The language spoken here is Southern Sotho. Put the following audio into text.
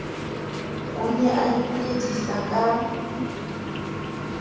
o ne o ipoledisa ka